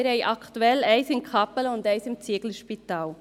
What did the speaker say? Wir haben aktuell eines in Kappelen und eines im Zieglerspital.